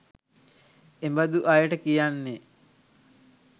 එබඳු අයට කියන්නේ